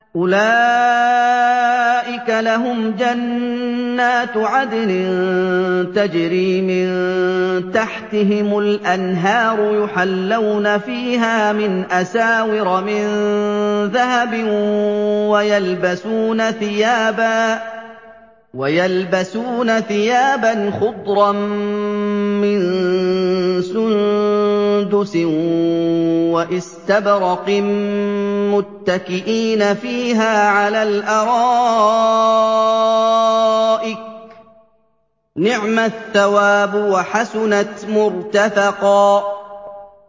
أُولَٰئِكَ لَهُمْ جَنَّاتُ عَدْنٍ تَجْرِي مِن تَحْتِهِمُ الْأَنْهَارُ يُحَلَّوْنَ فِيهَا مِنْ أَسَاوِرَ مِن ذَهَبٍ وَيَلْبَسُونَ ثِيَابًا خُضْرًا مِّن سُندُسٍ وَإِسْتَبْرَقٍ مُّتَّكِئِينَ فِيهَا عَلَى الْأَرَائِكِ ۚ نِعْمَ الثَّوَابُ وَحَسُنَتْ مُرْتَفَقًا